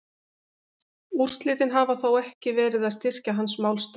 Úrslitin hafa þó ekki verið að styrkja hans málstað.